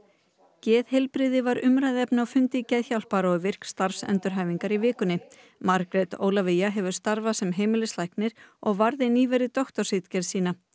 geðheilbrigði kvenna var umræðuefni á fundi Geðhjálpar og virk starfsendurhæfingar í vikunni Margrét Ólafía hefur starfað sem heimilislæknir og varði nýverið doktorsritgerð sína